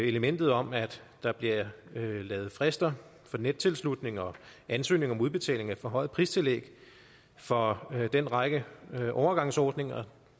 elementet om at der bliver lavet frister for nettilslutning og ansøgning om udbetaling af forhøjet pristillæg for den række overgangsordninger